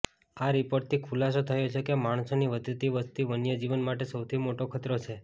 આ રિપોર્ટથી ખુલાસો થયો છે કે માણસોની વધતી વસ્તી વન્યજીવન માટે સૌથી મોટો ખતરો છે